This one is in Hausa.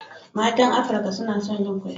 Matan Afirka suna son yin kwalliya.